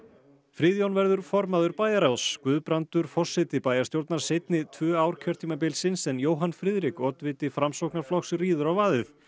Friðjón verður formaður bæjarráðs Guðbrandur forseti bæjarstjórnar seinni tvö ár kjörtímabilsins en Jóhann Friðrik oddviti Framsóknarflokks ríður á vaðið